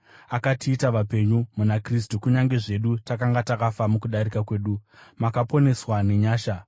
akatiita vapenyu muna Kristu kunyange zvedu takanga takafa mukudarika kwedu, makaponeswa nenyasha.